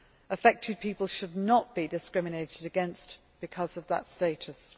Affected people should not be discriminated against because of that status.